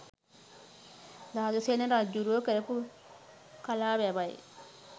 ධාතුසේන රජ්ජුරුවෝ කරපු කලා වැවයි